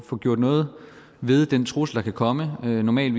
få gjort noget ved den trussel der kan komme normalt